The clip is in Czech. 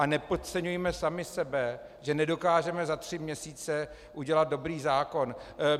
A nepodceňujme sami sebe, že nedokážeme za tři měsíce udělat dobrý zákon.